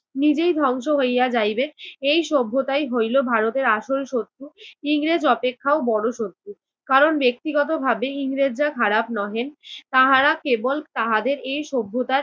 নিজেই ধ্বংস হইয়া যাইবে এই সভ্যতাই হইল ভারতের আসল শত্রু। ইংরেজ অপেক্ষাও বড় শত্রু। কারণ ব্যক্তিগতভাবে ইংরেজরা খারাপ নহে তাহারা কেবল তাহাদের এই সভ্যতার